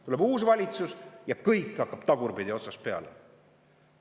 Tuleb uus valitsus ja kõik hakkab tagurpidi otsast peale.